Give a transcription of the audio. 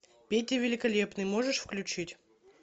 петя великолепный можешь включить